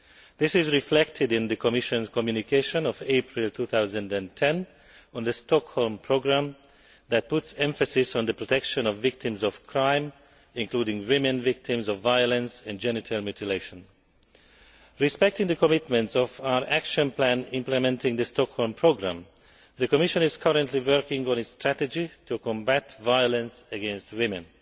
This is reflected in the Commission's communication of April 2010 on the Stockholm Programme, which puts emphasis on the protection of victims of crime, including female victims of violence and genital mutilation. Respecting the commitments of our action plan implementing the Stockholm Programme, the Commission is currently working on its strategy to combat violence against women.